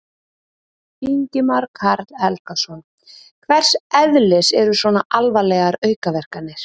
Ingimar Karl Helgason: Hvers eðlis eru svona alvarlegar aukaverkanir?